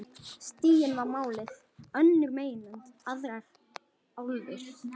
Stiginn var málið, önnur meginlönd, aðrar álfur.